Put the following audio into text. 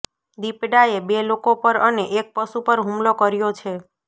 દીપડાએ બે લોકો પર અને એક પશુ પર હુમલો કર્યો છે